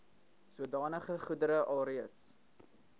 sodanige goedere alreeds